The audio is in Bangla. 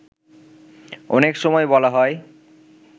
অনেক সময় বলা হয়